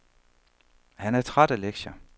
Han er træt af lektier.